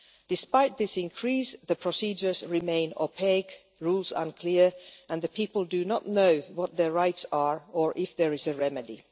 Despite this increase, the procedures remain opaque, rules unclear and the people do not know what their rights are or if there is a remedy.